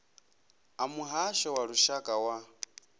a muhasho wa lushaka wa